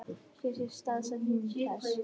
Hér sést staðsetning þess.